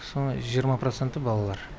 соның жиырма проценті балалар